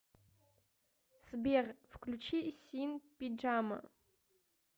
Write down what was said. сбер включи син пиджама